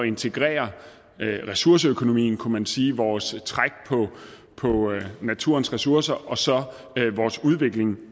integrere ressourceøkonomien kunne man sige vores træk på naturens ressourcer og så vores udvikling